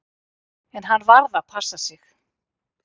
En hann varð að passa sig.